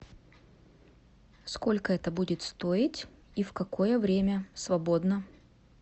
сколько это будет стоить и в какое время свободно